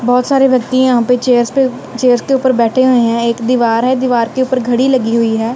बहोत सारे व्यक्ति यहां पे चेयर्स पे चेयर्स के ऊपर बैठे हुए हैं एक दीवार है दीवार के ऊपर घड़ी लगी हुई है।